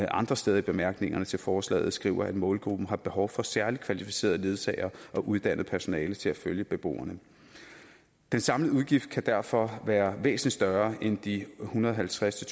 andre steder i bemærkningerne til forslaget skriver at målgruppen har behov for særlig kvalificerede ledsagere og uddannet personale til at følge beboerne den samlede udgift kan derfor være væsentlig større end de en hundrede og halvtreds til